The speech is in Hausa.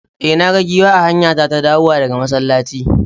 E, na ga giwa a hanyata ta dawowa daga masallaci.